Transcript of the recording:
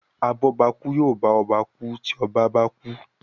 abobaku yóò bá ọba ku tí ọba bá kú.